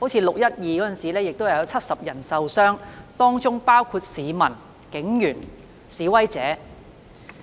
6月12日的事件中有70人受傷，當中包括市民、警員和示威者。